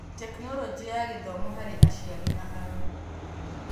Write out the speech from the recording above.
Tekinoronjĩ ya Gĩthomo harĩ aciari na arori.